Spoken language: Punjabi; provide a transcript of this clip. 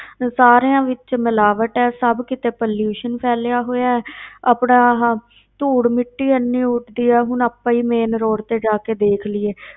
ਸਾਰਿਆਂ ਵਿੱਚ ਮਿਲਾਵਟ ਹੈ, ਸਭ ਕਿਤੇ pollution ਫੈਲਿਆ ਹੋਇਆ ਹੈ ਆਪਣਾ ਆਹ ਧੂੜ ਮਿੱਟੀ ਇੰਨੀ ਉੱਡਦੀ ਹੈ, ਹੁਣ ਆਪਾਂ ਹੀ main road ਤੇ ਜਾ ਕੇ ਦੇਖ ਲਈਏ,